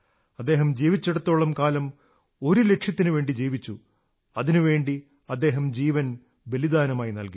അദ്ദേഹം ജീവിച്ചിടത്തോളം കാലം ഒരു ലക്ഷ്യത്തിനുവേണ്ടി ജീവിച്ചു അതിനുവേണ്ടി അദ്ദേഹം ജീവൻ ബലിദാനമായി നല്കി